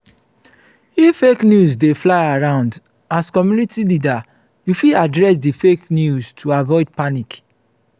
if fake news dey fly around as community leader you fit address di fake news to avoid panic